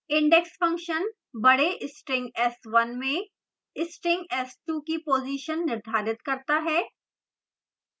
index function बड़े string s1 में string s2 की position निर्धारित करता है